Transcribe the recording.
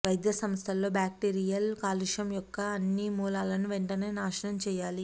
వైద్య సంస్థలలో బ్యాక్టీరియల్ కాలుష్యం యొక్క అన్ని మూలాలను వెంటనే నాశనం చేయాలి